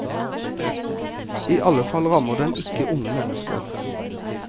I alle fall rammer den ikke unge mennesker.